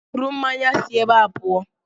Buru mmanya a si ébé a pụọ!